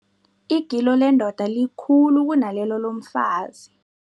Igilo lendoda likhulu kunalelo lomfazi.